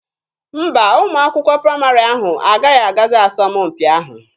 Mba, ụmụ akwụkwọ praịmarị ahụ agaghị agazi asọmpi ahụ.